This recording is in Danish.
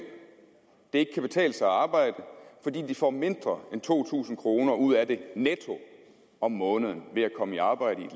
det ikke kan betale sig at arbejde fordi de får mindre end to tusind kroner netto ud af det om måneden ved at komme i arbejde i